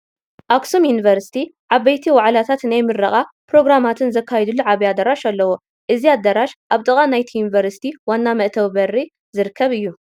ኣኽሱም ዩኒቨርሲቲ ዓበይቲ ዋዕላታትን ናይ ምረቓ ፕሮግራማትን ዘካይደሉ ዓብዪ ኣዳራሽ ኣለዎ፡፡ እዚ ኣዳራሽ ኣብ ጥቃ ናይቲ ዩኒቨርስቲ ዋና መእተዊ በሪ ዝርከብ እዩ፡፡